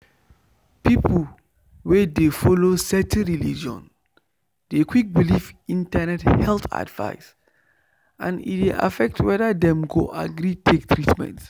people wey dey follow certain religion dey quick believe internet health advice and e dey affect whether dem go agree take treatment.